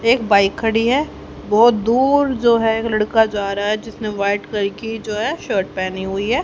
एक बाइक खड़ी है बहोत दूर जो है एक लड़का जा रहा है जिसने वाइट कलर जो है शर्ट पहनी हुई है।